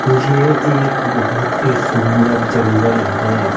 ये एक बहोत ही सुंदर जंगल है।